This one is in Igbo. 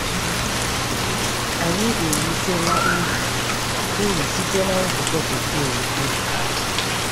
Anyị erutela uru uru site na nzukọ Bekee ukwu.